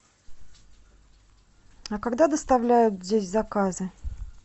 а когда доставляют здесь заказы